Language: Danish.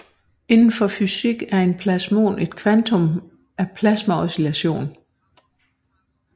Indenfor fysik er en plasmon en kvantum af plasmaoscillation